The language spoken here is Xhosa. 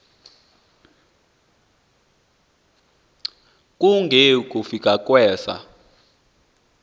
kunge kukufika kwesa